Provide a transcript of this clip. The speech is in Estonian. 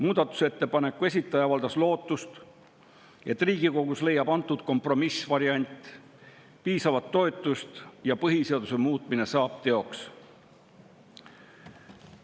Muudatusettepaneku avaldas lootust, et Riigikogus leiab antud kompromissvariant piisavat toetust ja põhiseaduse muutmine saab teoks.